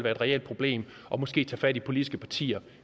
et reelt problem og måske tage fat i de politiske partier